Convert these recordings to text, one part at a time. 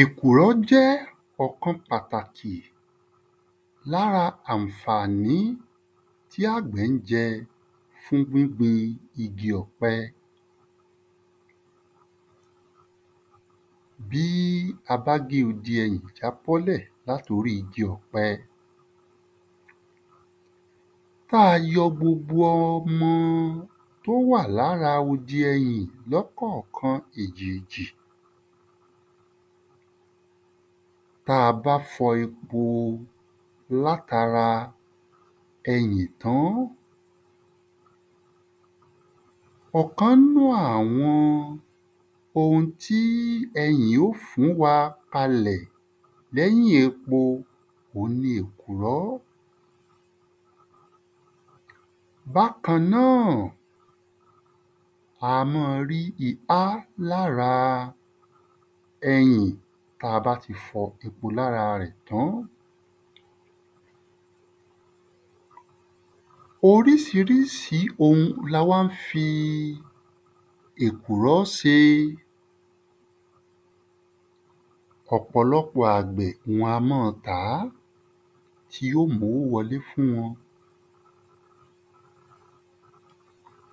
Èkùrọ́ ó jẹ́ ọ̀kan pàtàkì l'ára àǹfàní tí àgbẹ̀ ń jẹ́ fún gbígbin igi ọ̀pẹ Bí a bá gé odi ẹyìn jábọ́ lẹ̀ l’át’orí igi ọ̀pẹ. b'á a yọ gbogbo ọmọ t’ó wà l’ára odì eyìn lọ́kọ̀kan èjèèjì b'á a bá fọ gbogbo epo l’át’ara ẹyìn tán ọ̀kan ‘nu àwọn ohun tí ẹyìn ó fún wa ka lẹ̀ l’ẹ́yìn epo òun ni èkùrọ́. Bákan náà, a má a rí ihá l’ára ẹyìn t’a bá ti fọ epo l’ára rẹ̀ tán. Orísirísi la wá ń fi èkùrọ́ se. Ọ̀pọ̀lọpọ̀ àgbẹ̀ wọn a mọ́ ọ tàá tí yó m’ówó wọ ‘le fún wọn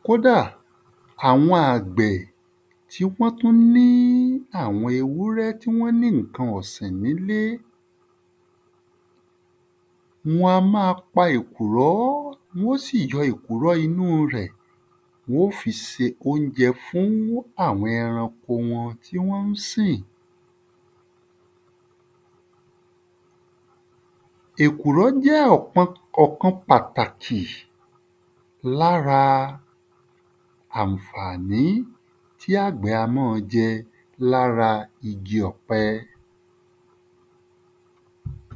Kódà àwọn àgbẹ̀ tí wọ́n tú ní àwọn ewúrẹ́ tí wọ́n ní ǹkan ọ̀sìn n’ílé wọ́n má a pa èkùrọ́ wọ́n ó sì yọ èkùrọ́ inú rẹ̀ wọ́n ó fi se óunjẹ fún àwọn ẹran wọn tí wọ́n ń sìn Èkùrọ́ jẹ́ ọ̀kan pàtàkì l'ára àǹfàní tí àgbẹ̀ a mọ́ ọ jẹ l’ára igi ọ̀pẹ.